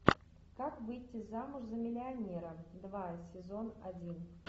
как выйти замуж за миллионера два сезон один